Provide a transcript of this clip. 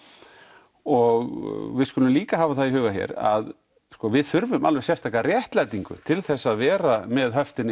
og við skulum líka hafa það í huga hér að við þurfum alveg sérstaka réttlætingu til þess að vera með höftin